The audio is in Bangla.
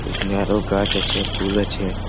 এখানে আরো গাছ আছে ফুল আছে ।